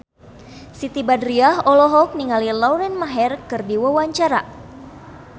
Siti Badriah olohok ningali Lauren Maher keur diwawancara